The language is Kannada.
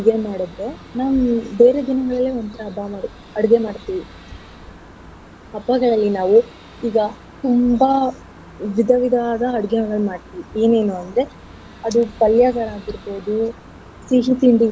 ಮಾಡದ್ರೆ ನಾವ್ ಬೇರೆ ದಿನ ಅಡ್ಗೆ ಮಾಡ್ತಿವಿ ಹಬ್ಬಗಳಲ್ಲಿ ನಾವು ಈಗ ತುಂಬಾ ವಿಧ ವಿಧವಾದ ಅಡ್ಗೆಗಳನ್ನು ಮಾಡ್ತಿವಿ ಏನೇನು ಅಂದ್ರೆ ಅದು ಪಲ್ಯಗಳಾಗಿರ್ಬೋದು ಸಿಹಿ ತಿಂಡಿ.